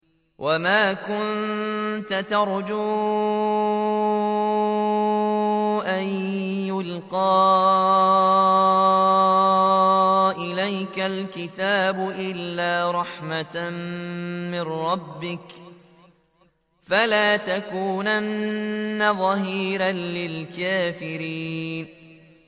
وَمَا كُنتَ تَرْجُو أَن يُلْقَىٰ إِلَيْكَ الْكِتَابُ إِلَّا رَحْمَةً مِّن رَّبِّكَ ۖ فَلَا تَكُونَنَّ ظَهِيرًا لِّلْكَافِرِينَ